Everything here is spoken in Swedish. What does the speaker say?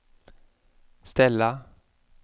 ställa